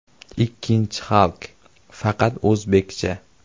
Ikkinchi Halk, faqat o‘zbekcha.